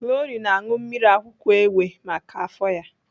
Glory na-aṅụ mmiri akwụkwọ ewe maka afọ ya.